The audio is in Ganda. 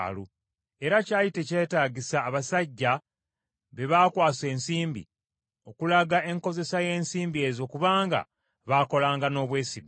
Era kyali tekyetagisa abasajja be baakwasa ensimbi, okulaga enkozesa y’ensimbi ezo kubanga baakolanga n’obwesigwa.